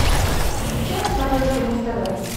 включи на смотрешке муз тв